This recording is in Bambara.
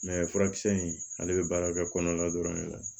furakisɛ in ale bɛ baara kɛ kɔnɔna dɔrɔn de la